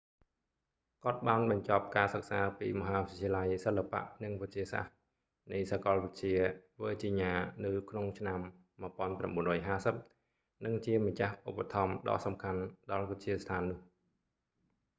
គាត់បានបញ្ចប់ការសិក្សាពីមហាវិទ្យាល័យសិល្បៈនិងវិទ្យាសាស្រ្តនៃសាកលវិទ្យា វើជីញ៉ា នៅក្នុងឆ្នាំ1950 និងជាម្ចាស់ឧបត្ថម្ភដ៏សំខាន់ដល់វិទ្យាស្ថាននោះ